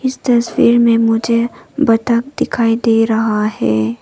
इस तस्वीर में मुझे बत्तख दिखाई दे रहा है।